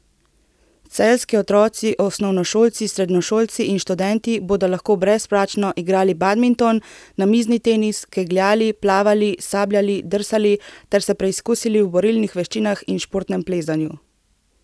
Celjski otroci, osnovnošolci, srednješolci in študenti bodo lahko brezplačno igrali badminton, namizni tenis, kegljali, plavali, sabljali, drsali ter se preizkusili v borilnih veščinah in športnem plezanju.